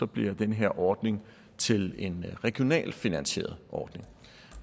bliver den her ordning til en regionalt finansieret ordning